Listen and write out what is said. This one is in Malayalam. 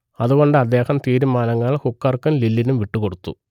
അതുകൊണ്ട് അദ്ദേഹം തീരുമാനങ്ങൾ ഹുക്കർക്കും ലില്ലിനും വിട്ടുകൊടുത്തു